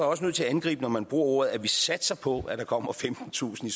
også nødt til at angribe når man bruger ordene at vi satser på at der kommer femtentusind i